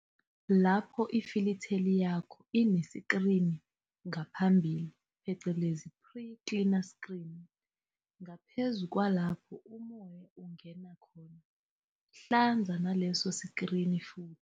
Lapho ifilitheli yakho ineskirini ngaphambili phecelezi pre-cleaner screen, ngaphezu kwalapho umoya ungena khona, hlanza naleso skirini futhi.